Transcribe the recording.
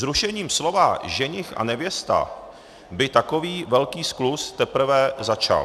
Zrušením slova ženich a nevěsta by takový velký skluz teprve začal.